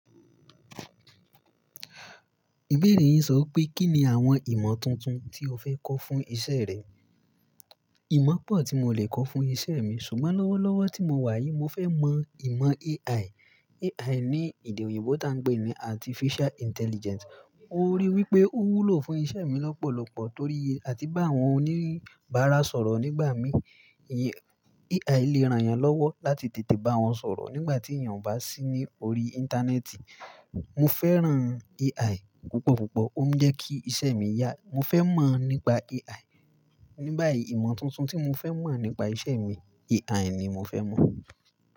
Ìbéèrè yín sọ í pé kí ni àwọn ìmọ̀ tuntun tí o fẹ́ kọ́ fún iṣẹ́ rẹ? Ìmọ̀ pọ̀ tí mo lè kọ́ fún iṣẹ́ mi, ṣùgbọ́n lọ́wọ́lọ́wọ́ tí mo wà yìí, mo fẹ́ mọ ìmọ̀ AI. Ní èdè òyìnbó t’á ń pè ní Artificial Intelligence. Mo ríi wípé ó wúlò fún iṣẹ́ mi lọ́pọ̀lọpọ̀ torí àti bá àwọn oníbàárà sọ̀rọ̀ nígbà mí, AI le ran yàn lọ́wọ́ láti tètè bá wọn sọ̀rọ̀ nígbà tí èèyàn ò bá sí ní orí Íńtánẹ́ẹ̀tì. Mo fẹ́ràn AI púpọ̀púpọ̀, ó ń jẹ́ kí iṣẹ́ mi yá. Mo fẹ́ mọ̀ nípa AI. Ní báyìí ìmọ̀ tuntun tí mo fẹ́ mọ̀ nípa iṣẹ́ mi, AI ni mo fẹ́ mọ̀.